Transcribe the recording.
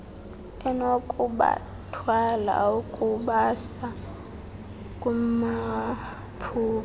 enokubathwala ukubasa kumaphupha